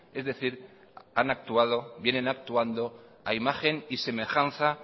es decir han actuado vienen actuando a imagen y semejanza